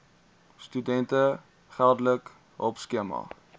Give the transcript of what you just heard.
studente geldelike hulpskema